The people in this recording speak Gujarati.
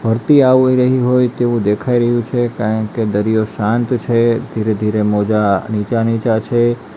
ભરતી આવી રહી હોય તેવું દેખાઈ રહ્યું છે કારણ કે દરિયો શાંત છે ધીરે-ધીરે મોજા નીચે છે.